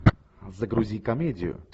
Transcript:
загрузи комедию